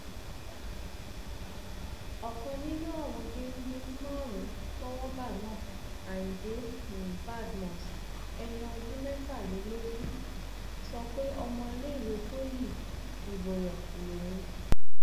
ọkan nínú àwọn géńdé márùnún tọwọ bá náà ayíǹde um badmus ẹni ọdún mẹtàlélógún um sọ pé ọmọléèwé poli iboyàn lòun